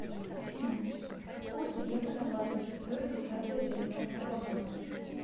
афина курс евро на двадцать шестое десятое девятнадцатого года